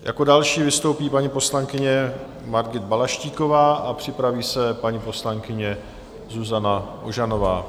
Jako další vystoupí paní poslankyně Margita Balaštíková a připraví se paní poslankyně Zuzana Ožanová.